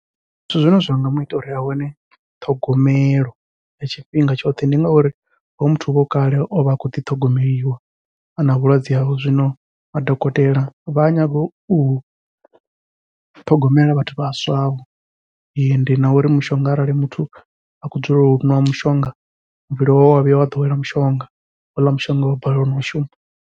Zwithu zwine zwa nga muita uri a wane ṱhogomelo ya tshifhinga tshoṱhe, ndi ngauri hoyu muthu huvha hu kale ovha a khou ḓi ṱhogomeliwa ana vhulwadze hovhu zwino madokotela vha a nyaga u u ṱhogomela vhathu vhaswa vho. Ende na uri mushonga arali muthu a khou dzulela u ṅwa mushonga, muvhili wawe wa vhuya wa ḓowela mushonga houḽa mushonga wa balelwa nau shuma.